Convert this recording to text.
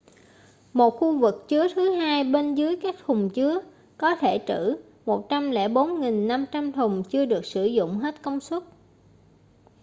một khu vực chứa thứ hai bên dưới các thùng chứa có thể trữ 104.500 thùng chưa được sử dụng hết công suất